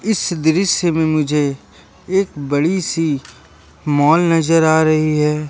इस दृश्य में मुझे एक बड़ी सी मॉल नजर आ रही है।